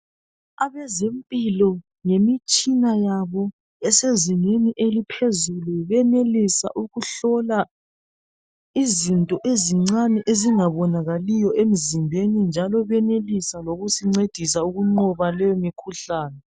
Abezempilo ngemitshina yabo esezingeni eliphezulu benelisa ukuhlola izinto ezincane ezingabonakaliyo emzimbeni, njalo benelisa lokusincedisa ukunqoba leyo mikhuhlane.